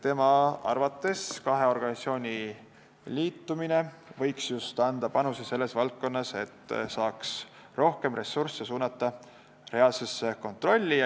Tema arvates võiks kahe organisatsiooni liitumine anda panuse just selles valdkonnas, et saaks rohkem ressursse suunata reaalsesse kontrolli.